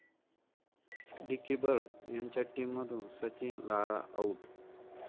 dickey Bird यांच्या टीममधून Sachin, Lara 'out'